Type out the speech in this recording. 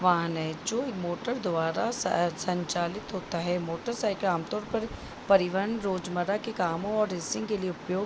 वाहन है जो मोटर द्वारा सा संचलित होता है मोटरसाइकिल आमतौर पर परिवहन रोजमर्रा के कामो और रेसिंग के लिए उपयोग --